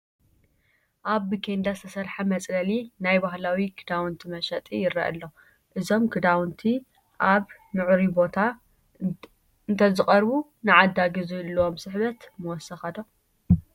ኣብ ብኬንዳ ዝተሰርሐ መፅለሊ ናይ ባህላዊ ክዳውንቲ መሸጢ ይርአ ኣሎ፡፡ እዞም ክዳውንቲ ኣብ ምዕሩይ ቦታ እንተዝቐርቡ ንዓዳጊ ዝህልዎም ስሕበት ምወሰኸ ዶ?